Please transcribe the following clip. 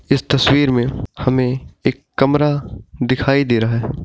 इस तस्वीर में हमे एक कमरा दिखाई दे रहा है।